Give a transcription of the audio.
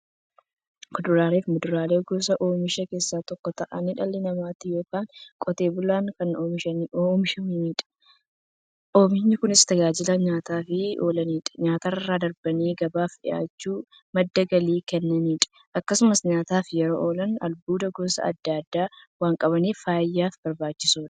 Kuduraafi muduraan gosa oomishaa keessaa tokko ta'anii, dhala namaatin yookiin Qotee bulaadhan kan oomishamaniidha. Oomishni Kunis, tajaajila nyaataf kan oolaniifi nyaatarra darbanii gabaaf dhiyaachuun madda galii kan kennaniidha. Akkasumas nyaataf yeroo oolan, albuuda gosa adda addaa waan qabaniif, fayyaaf barbaachisoodha.